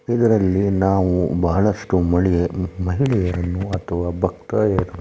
ಇದರಲ್ಲಿ ನಾವು ಬಹಳಷ್ಟು ಮಳೆ ಮಹಿಳೆಯರನ್ನು ಅಥವಾ ಭಕ್ತಾದಿಗಳನ್ನು --